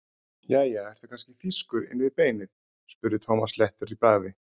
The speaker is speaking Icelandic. Jæja, ertu kannski þýskur inni við beinið? spurði Thomas léttur í bragði.